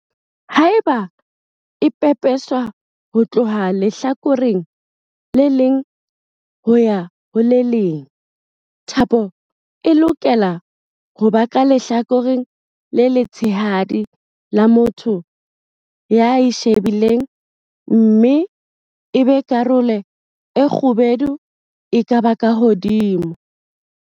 Haeba e pepeswa ho tloha lehlakoreng le leng ho ya ho le leng, thapo e lokela ho ba ka lehlakoreng le letshehadi la motho ya e shebileng mme ebe karolo e kgubedu e ba ka hodimo.